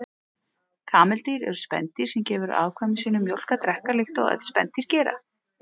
Kameldýr eru spendýr sem gefur afkvæmum sínum mjólk að drekka, líkt og öll spendýr gera.